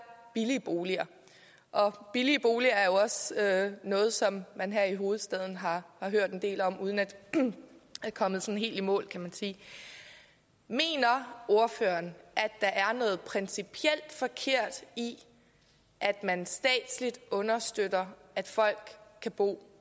billige boliger og billige boliger er jo noget som man her i hovedstaden har hørt en del om uden at man er kommet sådan helt i mål kan man sige mener ordføreren at der er noget principielt forkert i at man statsligt understøtter at folk kan bo